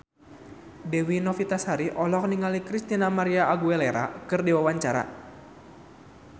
Dewi Novitasari olohok ningali Christina María Aguilera keur diwawancara